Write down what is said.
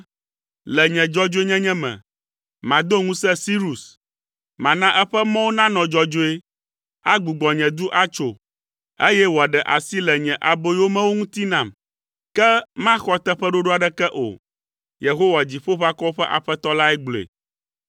Le nye dzɔdzɔenyenye me, mado ŋusẽ Sirus. Mana eƒe mɔwo nanɔ dzɔdzɔe. Agbugbɔ nye du atso, eye wòaɖe asi le nye aboyomewo ŋuti nam. Ke maxɔ teƒeɖoɖo aɖeke o, Yehowa, Dziƒoʋakɔwo ƒe Aƒetɔ lae gblɔe.”